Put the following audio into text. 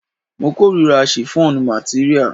Mo kórira shiffọnu materia.